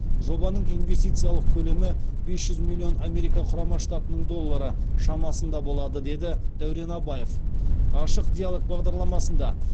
жобаның инвестициялық көлемі бес жүз миллион америка құрама штатының доллары шамасында болады деді дәурен абаев ашық диалог бағдарламасында